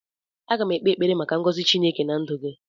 Aga m ekpe ekpere maka ngọzị Chineke na ndụ gị